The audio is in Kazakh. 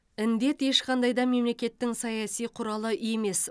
індет ешқандай да мемлекеттің саяси құралы емес